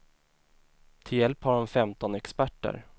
Till hjälp har hon femton experter.